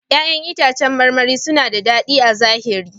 ƴa'ƴan itãcen marmari suna da daɗi a zahiri.